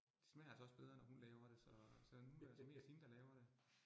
Det smager altså også bedre, når hun laver det, så så nu det altså mest hende, der laver det